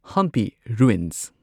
Hampi ruins